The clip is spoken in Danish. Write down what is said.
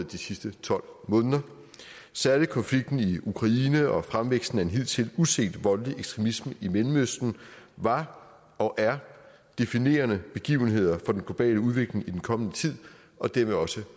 de sidste tolv måneder særlig konflikten i ukraine og fremvæksten af en hidtil udset voldelig ekstremisme i mellemøsten var og er definerende begivenheder for den globale udvikling i den kommende tid og dermed også